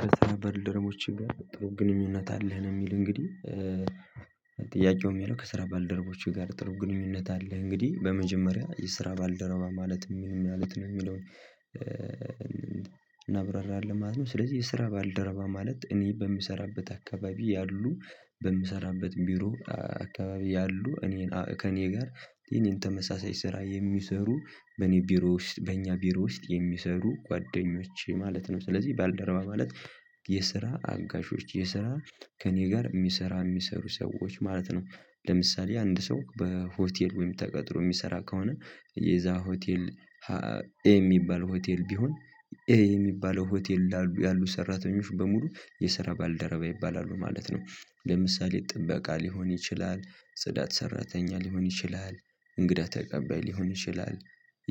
ከስራ ባልደረባዎች ጋር ጥሩ ግንኙነት አለህ ነው የሚል እንግዲህ? ጥያቄው የሚለው ከስራ ባልደረቦችህ ጋር ጥሩ ግንኙነት አለ እንግዲህ በመጀመሪያ የስራ ባልደረባ ማለት ምንም ማለት ነው የሚለውን። እናብራራለን ማለት ነው ስለዚህ የስራ ባልደረባ ማለት እኔ በምሰራበት አካባቢ ያሉ በምሰራበት ቢሮ አካባቢ ያሉ እኔን ከእኔ ጋር የኔን ተመሳሳይ ስራ የሚሰሩ በእኔ ቢሮ ውስጥ በእኛ ቢሮ ውስጥ የሚሰሩ ጓደኞቼ ማለት ነው። ስለዚህ ባልደረባ ማለት የስራ አጋዦች የስራ ከእኔ ጋር የሚሰራ የሚሰሩ ሰዎች ማለት ነው። ለምሳሌ አንድ ሰው በሆቴል ወይም ተቀጥሮ የሚሰራ ከሆነ የዛ ሆቴል የሚባል ሆቴል ቢሆን ይሄ የሚባለው ሆቴል ያሉ ሰራተኞች በሙሉ የስራ ባልደረባ ይባላሉ ማለት ነው። ለምሳሌ ጥበቃ ሊሆን ይችላል ጽዳት ሰራተኛ ሊሆን ይችላል እንግዳ ተቀባይ ሊሆን ይችላል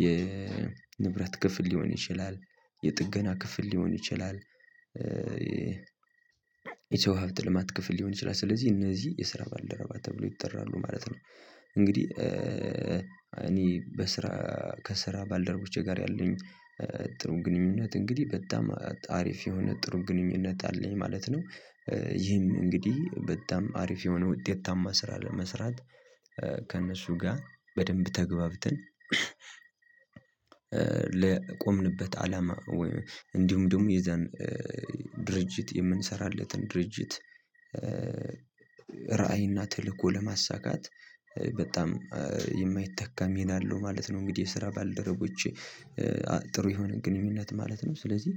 የንብረት ክፍል ሊሆን ይችላል የጥገና ክፍል ሊሆን ይችላል የሰው ሀብተ ልማት ክፍል ሊሆን ይችላል ስለዚህ እነዚህ የስራ ባልደረባ ተብለው ይጠራሉ ማለት ነው። እንግዲህ እኔ በስራ ከስራ ባልደረቦቼ ጋር ያለኝ ጥሩ ግንኙነት እንግዲህ በጣም አሪፍ የሆነ ጥሩ ግንኙነት አለኝ ማለት ነው። ይህም እንግዲህ በጣም አሪፍ የሆነ ውጤታማ ስራ ለመስራት ከእነሱ ጋር በደንብ ተግባብተን ለቆምንበት አላማ ወይም እንዲሁም ደግሞ የዛን ድርጅት የምንሰራለትን ድርጅት ራዕይና ተልእኮ ለማሳካት በጣም የማይተካ ሚና አለው ማለት ነው። እንግዲህ የስራ ባልደረቦቼ ጥሩ የሆነ ግንኙነት ማለት ነው ስለዚህ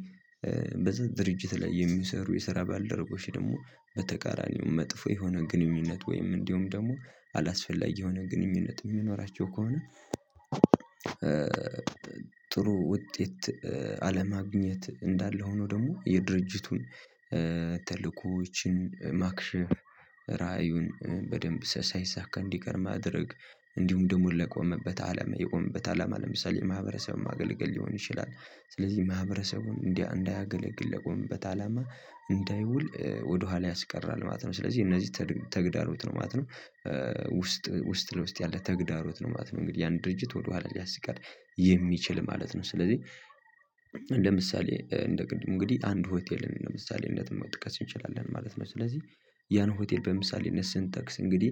በዛ ድርጅት ላይ የሚሰሩ የስራ ባልደረቦች ደግሞ በተቃራኒው መጥፎ የሆነ ግንኙነት ወይም እንዲሁም ደግሞ አላስፈላጊ የሆነ ግንኙነት የሚኖራቸው ከሆነ። ጥሩ ውጤት አለማግኘት እንዳለ ሆኖ ደግሞ የድርጅቱን ተልእኮዎችን ማክሽፍ ራእዩን በደንብ ሳይዛካ እንዲቀር ማድረግ እንዲሁም ደግሞ ለቆመበት አላማ የቆመበት አላማ ለምሳሌ ማህበረሰብን ማገልገል ሊሆን ይችላል ስለዚህ ማህበረሰቡን እንዳያገለግል ለቆመበት አላማ እንዳይውል ወደኋላ ያስቀራል ማለት ነው ስለዚህ እነዚህ ተግዳሮት ነው ማለት ነው። ውስጥ ውስጥ ለውስጥ ያለ ተግዳሮት ነው ማለት ነው እንግዲህ ያን ድርጅት ወደኋላ ሊያስቀር የሚችል ማለት ነው። ስለዚህ እንደ ምሳሌ እንደ ቅድሙ እንግዲህ አንድ ሆቴልን ምሳሌነት መጥቀስ እንችላለን ማለት ነው ስለዚህ ያን ሆቴል በምሳሌነት ስንጠቅስ እንግዲህ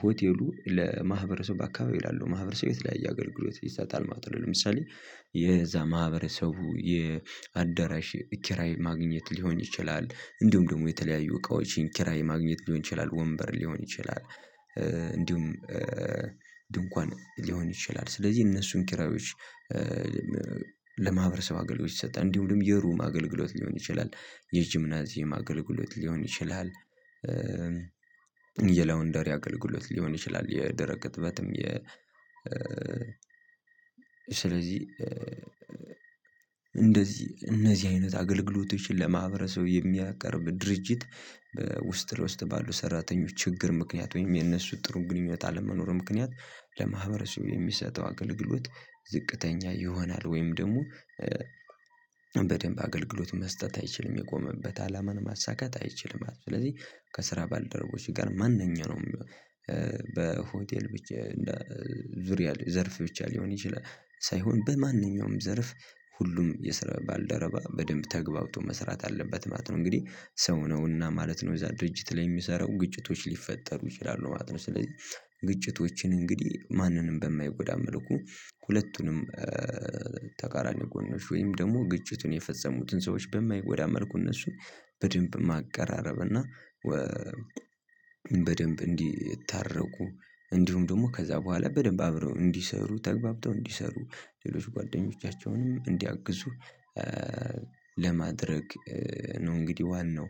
ሆቴሉ ለማህበረሰብ አካባቢ ላሉ ማህበረሰብ የተለያየ አገልግሎት ይሰጣል ማለት ነው። ለምሳሌ የዛ ማህበረሰቡ የአዳራሽ ኪራይ ማግኘት ሊሆን ይችላል እንዲሁም ደግሞ የተለያዩ እቃዎችን ኪራይ ማግኘት ሊሆን ይችላል ወንበር ሊሆን ይችላል እንዲሁም ድንኳን ሊሆን ይችላል ስለዚህ እነሱን ኪራዮች ለማህበረሰብ አገልግሎት ይሰጣል እንዲሁም የሩም አገልግሎት ሊሆን ይችላል የጂምናዚየም አገልግሎት ሊሆን ይችላል። የላውንደሪ አገልግሎት ሊሆን ይችላል የደረቀ እጥበትም የ ስለዚህ እንደዚህ እነዚህ አይነት አገልግሎቶችን ለማህበረሰብ የሚያቀርብ ድርጅት ውስጥ ለውስጥ ባሉ ሰራተኞች ችግር ምክንያት ወይም የነሱ ጥሩ ግንኙነት አለመኖር ምክንያት ለማህበረሰቡ የሚሰጠው አገልግሎት ዝቅተኛ ይሆናል ወይም ደግሞ በደንብ አገልግሎት መስጠት አይችልም የቆመበት አላማን ማሳካት አይችልም ማለት ነው። ስለዚህ ከስራ ባልደረቦች ጋር ማንኛውንም በሆቴል ብቻ ዙሪያ ዘርፊዎች ሊሆን ይችላል ሳይሆን በማንኛውም ዘርፍ ሁሉም የስራ ባልደረባ በደንብ ተግባብቶ መስራት አለበት ማለት ነው። እንግዲህ ሰው ነውና ማለት ነው እዛ ድርጅት ላይ የሚሰራው ግጭቶች ሊፈጠሩ ይችላሉ ማለት ነው። ስለዚህ ግጭቶችን እንግዲህ ማንንም በማይጎዳ መልኩ ሁለቱንም ተቃራኒ ጎኖች ወይም ደግሞ ግጭቱን የፈጸሙትን ሰዎች በማይጎዳ መልኩ እነሱን በደንብ ማቀራረብ እና በደንብ እንዲ ታረቁ እንዲሁም ደግሞ ከዛ በኋላ በደንብ አብረው እንዲሰሩ ተገባብተው እንዲሰሩ ሌሎች ጓደኞቻቸውንም እንዲያግዙ ለማድረግ ነው። እንግዲህ ዋናው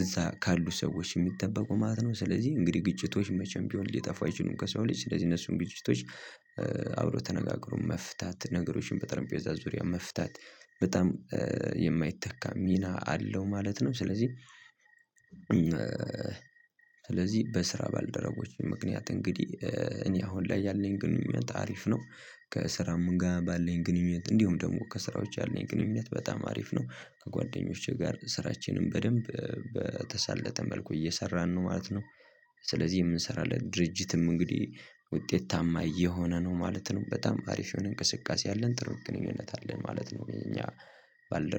እዛ ካሉ ሰዎች የሚጠበቁ ማለት ነው ስለዚህ እንግዲህ ግጭቶች መቼም ቢሆን ሊጠፋ አይችሉም ከሰው ልጅ ስለዚህ እነሱን ግጭቶች አብሮ ተነጋግሮ መፍታት ነገሮችን በጠረጴዛ ዙሪያ መፍታት በጣም የማይተካ ሚና አለው ማለት ነው። ስለዚህ ስለዚህ በስራ ባልደረቦች ምክንያት እንግዲህ እኔ አሁን ላይ ያለኝ ግንኙነት አሪፍ ነው። ከስራም ጋር ባለን ግንኙነት እንዲሁም ደግሞ ከስራ ውጪ ያለን ግንኙነት በጣም አሪፍ ነው ከጓደኞቼ ጋር ስራችንን በደንብ በተሳለጠ መልኩ እየሰራን ነው ማለት ነው። ስለዚህ የምንሰራለት ድርጅትም እንግዲህ ውጤታማ እየሆነ ነው ማለት ነው በጣም አሪፍ የሆነ እንቅስቃሴ አለን ጥሩ ግንኙነት አለን ማለት ነው። እኛ ባልደ